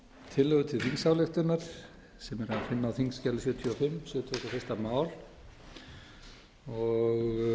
tillögu til þingsályktunar sem er að finna á þingskjali sjötíu og fimm sjötugasta og